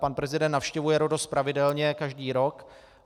Pan prezident navštěvuje Rhodos pravidelně každý rok.